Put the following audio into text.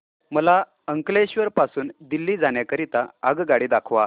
मला अंकलेश्वर पासून दिल्ली जाण्या करीता आगगाडी दाखवा